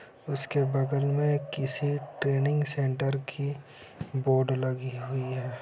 उसके बगल में किसी ट्रेनिंग सेंटर की बोर्ड लगी हुई है ।